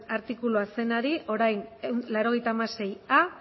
artikulua zenari orain laurogeita hamaseia